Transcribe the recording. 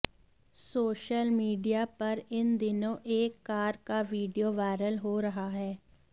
social media पर इन दिनों एक कार का वीडियो वायरल हो रहा है